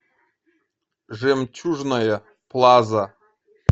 жемчужная плаза